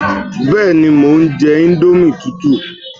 Bẹ́ẹ̀ni, mo ń jẹ íńdómì tútù